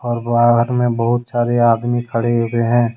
और बाहर में बहुत सारे आदमी खड़े हुए हैं।